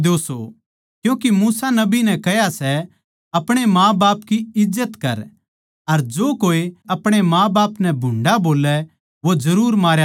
क्यूँके मूसा नबी नै कह्या सै आपणे माँबाप की इज्जत कर अर जो कोए आपणे माँबाप नै भुंडा बोल्लै वो जरुर मारया जावै